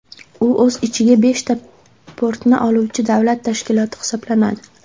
U o‘z ichiga beshta portni oluvchi davlat tashkiloti hisoblanadi.